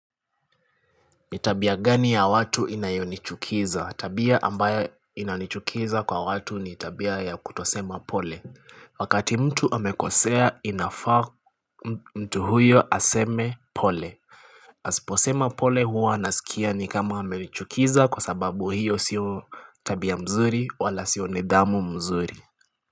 Ni tabia gani ya watu inayonichukiza? Tabia ambayo inanichukiza kwa watu ni tabia ya kutosema pole. Wakati mtu amekosea inafaa mtu huyo aseme pole. Asiposema pole huwa nasikia ni kama amenichukiza kwa sababu hiyo siyo tabia mzuri wala siyo nidhamu mzuri.